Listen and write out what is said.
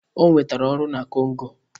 O nwetara ọrụ na Congo.